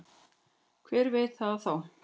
Hver veit það þá?